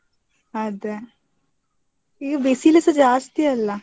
ಅದೇ, ಈಗ ಬಿಸಿಲುಸ ಜಾಸ್ತಿ ಅಲ್ಲಾ?